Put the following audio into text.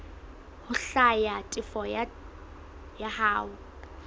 ho hlwaya tefo ya hao